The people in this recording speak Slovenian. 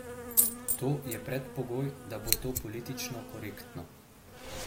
To je predpogoj, da bo to politično korektno.